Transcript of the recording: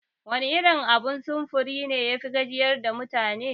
Wane abun sufuri ne yafi gajiyar da mutane?